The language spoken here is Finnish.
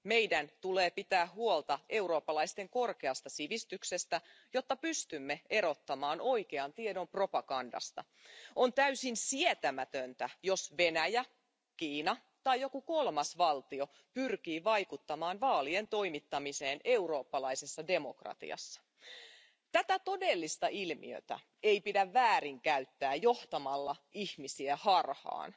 Meidän tulee pitää huolta eurooppalaisten korkeasta sivistyksestä, jotta pystymme erottamaan oikean tiedon propagandasta. On täysin sietämätöntä, jos Venäjä, Kiina tai joku kolmas valtio pyrkii vaikuttamaan vaalien toimittamiseen eurooppalaisessa demokratiassa. Tätä todellista ilmiötä ei pidä väärinkäyttää johtamalla ihmisiä harhaan.